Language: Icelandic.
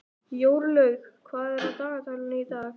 Jórlaug, hvað er á dagatalinu í dag?